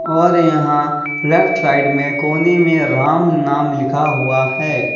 और यहां left side में कोने में राम नाम लिखा हुआ है।